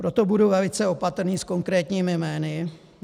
Proto budu velice opatrný s konkrétními jmény.